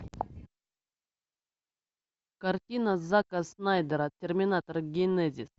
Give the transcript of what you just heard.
картина зака снайдера терминатор генезис